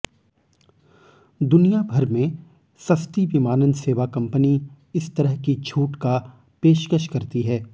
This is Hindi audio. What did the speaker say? दुनियाभर में सस्ती विमानन सेवा कंपनी इस तरह की छूट का पेशकश करती है